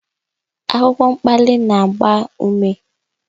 Akwụkwọ mkpali na-agba ume.